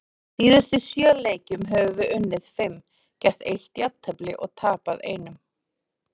Í síðustu sjö leikjum höfum við unnið fimm, gert eitt jafntefli og tapað einum.